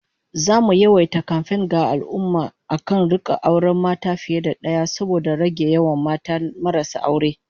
Zamu yawaita kamfen ga al'ummah akan rika auren mata fiye da daya saboda rage yawan mata marasa aure